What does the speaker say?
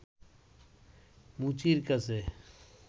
মুচির কাছে